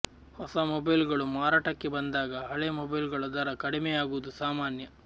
ಹೊಸ ಮೊಬೈಲ್ಗಳು ಮಾರುಕಟ್ಟೆಗೆ ಬಂದಾಗ ಹಳೇ ಮೊಬೈಲ್ಗಳ ದರ ಕಡಿಮೆಯಾಗುವುದು ಸಾಮಾನ್ಯ